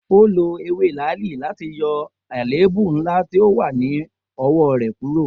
O lo ewe laali lati yọ aleebu nla ti o wa ni ọwọ rẹ kuro?